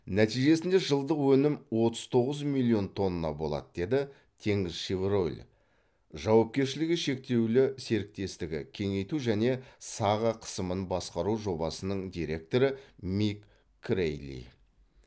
нәтижесінде жылдық өнім отыз тоғыз миллион тонна болады деді теңізшевройл жауапкершілігі шектеулі серіктестігі кеңейту және саға қысымын басқару жобасының директоры мик крэйли